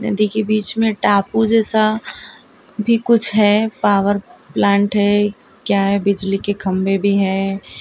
देखिए बीच में टापू जैसा भी कुछ है पावर प्लांट है क्या है बिजली के खंभे भी है।